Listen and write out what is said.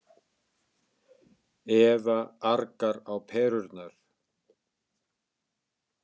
Eva argar á perurnar.